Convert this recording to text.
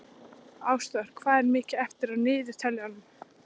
Ásþór, hvað er mikið eftir af niðurteljaranum?